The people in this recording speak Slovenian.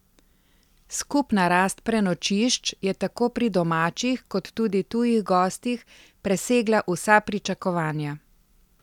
Skupna rast prenočišč je tako pri domačih kot tudi tujih gostih presegla vsa pričakovanja.